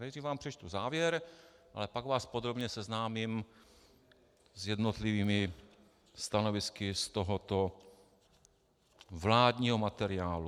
Nejdřív vám přečtu závěr, ale pak vás podrobně seznámím s jednotlivými stanovisky z tohoto vládního materiálu.